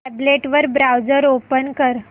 tablet वर browser open कर